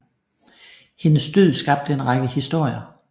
Hendes død skabte en række historier